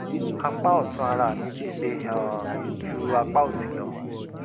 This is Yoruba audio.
apá ọ̀tún ara mi ti le um ju apá òsì lọ